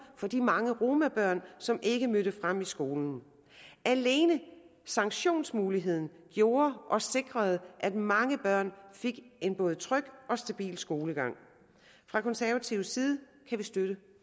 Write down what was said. for de mange romabørn som ikke mødte frem i skolen alene sanktionsmuligheden gjorde og sikrede at mange børn fik en både tryg og stabil skolegang fra konservativ side kan vi støtte